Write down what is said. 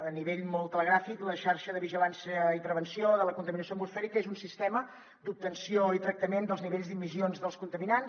a nivell molt telegràfic la xarxa de vigilància i previsió de la contaminació atmosfèrica és un sistema d’obtenció i tractament dels nivells d’emissions dels contaminants